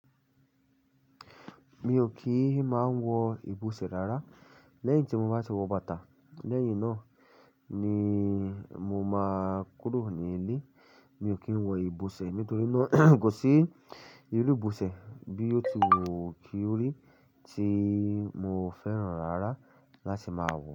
Mi ò kí ń máa ń wọ ibùsẹ̀ rárá. Lẹ́yìn tí mo bá ti wọ bàtà. Lẹ́yìn náà ni mo máa kúrò ní ilé. Mi ò kí ń wọ ibùsẹ̀ nítorí náà kò sí irú ibùsẹ̀ bí ó ti wù kí ó rí tí mo fẹ́ràn rárá láti máa wọ̀